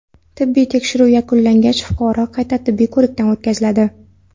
Tibbiy tekshiruv yakunlangach, fuqaro qayta tibbiy ko‘rikdan o‘tkaziladi.